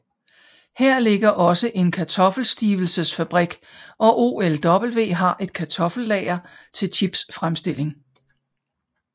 Her ligger også en kartoffelstivelsesfabrik og OLW har et kartoffellager til chipsfremstilling